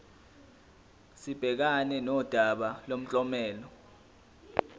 sibhekane nodaba lomklomelo